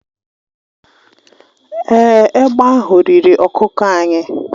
Èé, egbe ahụ riri ọkụkọ anyị.